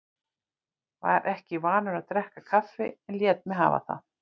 Var ekki vanur að drekka kaffi en lét mig hafa það.